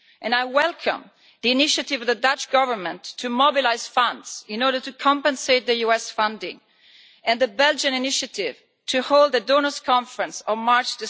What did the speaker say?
I welcome the initiative of the Dutch Government to mobilise funds in order to compensate for the US funding and the Belgian initiative to hold a donors' conference on 2 March.